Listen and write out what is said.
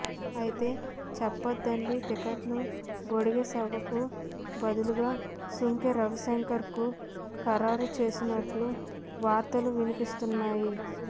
అయితే చొప్పదండి టికెట్ను బొడిగె శోభకు బదులుగా సుంకె రవిశంకర్కు ఖరారు చేసినట్టు వార్తలు వినిపిస్తున్నాయి